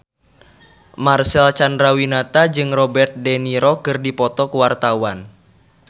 Marcel Chandrawinata jeung Robert de Niro keur dipoto ku wartawan